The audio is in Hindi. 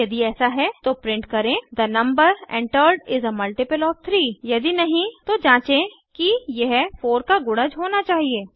यदि ऐसा है तो प्रिंट करें the number entered is a multiple of 3 यदि नहीं तो जाचें कि यह 4 का गुणज होना चाहिए